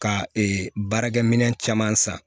Ka baarakɛminɛn caman san